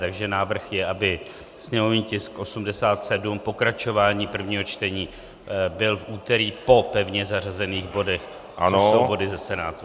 Takže návrh je, aby sněmovní tisk 87, pokračování prvního čtení, byl v úterý po pevně zařazených bodech, což jsou body ze Senátu.